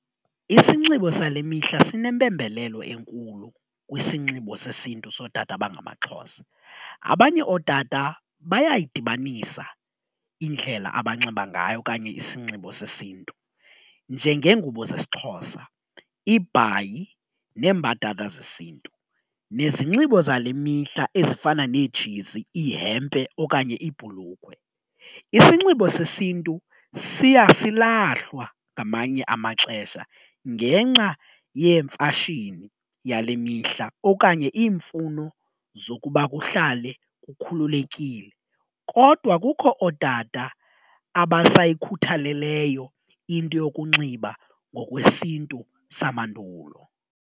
Isinxibo sale mihla sinempembelelo enkulu kwisinxibo sesiNtu sootata abangamaXhosa, abanye ootata bayayidibanisa indlela abanxiba ngayo okanye isinxibo sesiNtu. Njengeengubo zesiXhosa ibhayi neembadada zesiNtu, nezinxibo zale mihla ezifana neejezi, ihempe okanye ibhulukhwe. Isinxibo sesiNtu siya silahlwa ngamanye amaxesha ngenxa yemfashini yale mihla okanye iimfuno zokuba kuhlale kukhululekile kodwa kukho ootata abasayikhuthaleleyo into yokunxiba ngokwesiNtu samandulo.